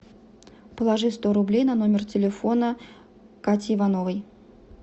положи сто рублей на номер телефона кати ивановой